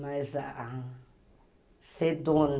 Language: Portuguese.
Mas a a sedona...